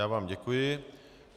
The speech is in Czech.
Já vám děkuji.